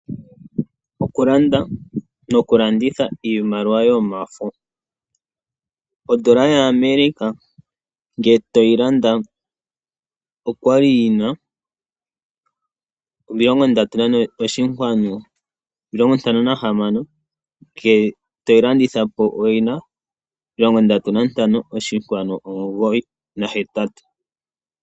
Okulanda nokulanditha iimaliw ayomafo. Odola yaAmerica ngele toyi landa oya li yi na 34.56, ngele toyi landitha po oyi na 35.98.